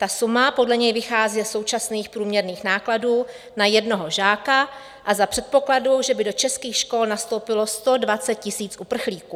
Ta suma podle něj vychází ze současných průměrných nákladů na jednoho žáka a za předpokladu, že by do českých škol nastoupilo 120 000 uprchlíků.